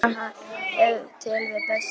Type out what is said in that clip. Þannig sannaði hann ef til vill best hæfni sína.